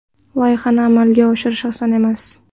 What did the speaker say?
Loyihani amalga oshirish oson emas.